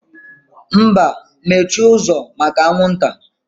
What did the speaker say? Mba, mechie ụzọ maka anwụ nta